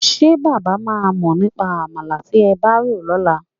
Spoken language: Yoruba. Ṣé bàbá máa mọ̀ nípa àmàlà tí ẹ fẹ́ rò lọ́la?